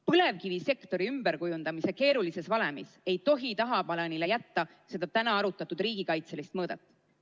Põlevkivisektori ümberkujundamise keerulises valemis ei tohi tagaplaanile jätta seda täna arutatud riigikaitselist mõõdet.